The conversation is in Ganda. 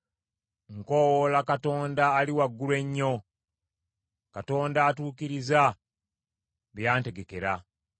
Nkoowoola Katonda Ali Waggulu Ennyo, Katonda atuukiriza bye yantegekera.